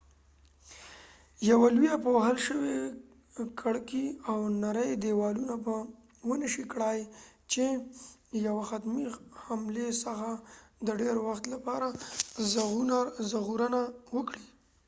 یوه لويه پوښل شوي کړکې او نری ديوالونه به ونشي کړای چې یوه حتمی حملی څخه د ډیر وخت لپاره ژغورنه وکړي